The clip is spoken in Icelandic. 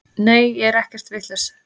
Nei ég er ekkert vitlaus.